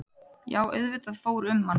Já auðvitað fór um mann.